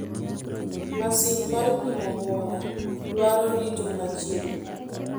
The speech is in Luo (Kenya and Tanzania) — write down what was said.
Masin mar pimo muya dwaro rito machiegni .